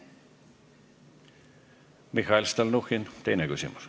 Mihhail Stalnuhhin, teine küsimus.